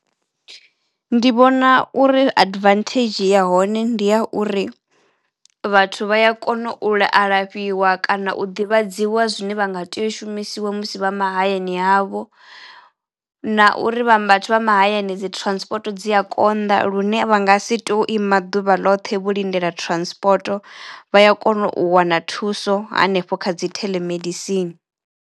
Ndi vhona uri advantage ya hone ndi ya uri vhathu vha ya kono u la alafhiwa kana u ḓivhadziwa zwine vha nga teo u shumisiwa musi vha mahayani havho na uri vha mahayani dzi transport dzi a konḓa lune vha nga si tu ima ḓuvha loṱhe vho lindela transport. Vha ya kono u wana thuso hanefho kha dzi theḽemedisini.